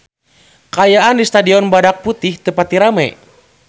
Kaayaan di Stadion Badak Putih teu pati rame